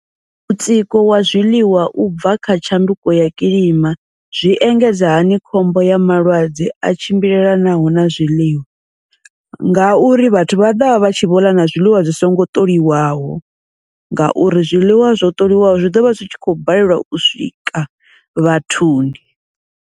Mutsiko wa zwiḽiwa ubva kha tshanduko ya kilima zwi engedza hani khombo ya malwadze a tshimbilelanaho na zwiḽiwa, ngauri vhathu vha ḓovha vha tshi vho ḽa na zwiḽiwa zwi songo ṱoliwaho, ngauri zwiḽiwa zwo ṱoliwaho zwi ḓovha zwi tshi khou balelwa u swika vhathuni.